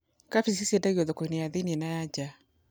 Kambĩji ciendagio thoko-inĩ cia thĩiniĩ na nja